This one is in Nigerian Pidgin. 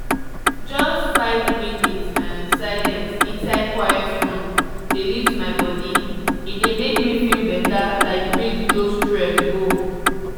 just five minute um silence inside quiet room dey lift my body e dey make me feel better like breeze blow stress go.